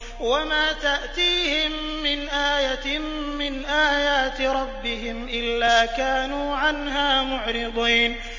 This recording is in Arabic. وَمَا تَأْتِيهِم مِّنْ آيَةٍ مِّنْ آيَاتِ رَبِّهِمْ إِلَّا كَانُوا عَنْهَا مُعْرِضِينَ